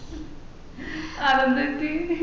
അതെന്ത് പറ്റി